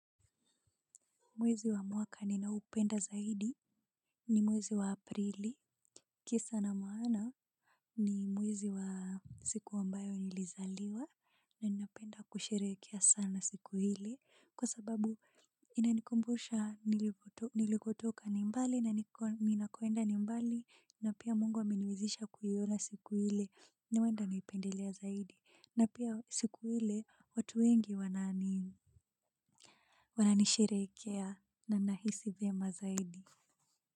Mwezi wa mwaka ninaupenda zaidi ni mwezi wa Aprili. Kisa na maana, ni mwezi wa siku ambayo nilizaliwa. Na ninapenda kusherehekea sana siku hili, kwa sababu inanikumbusha nilikotoka ni mbali, na ninakoenda ni mbali na pia Mungu ameniwezesha kuiona siku ile. Ni wanda nipendelea zaidi. Na pia, siku ile, watu wengi, wananisherehekea na nahisi vyema zaidi.